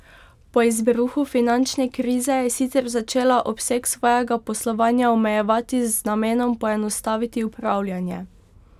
Po izbruhu finančne krize je sicer začela obseg svojega poslovanja omejevati z namenom poenostaviti upravljanje.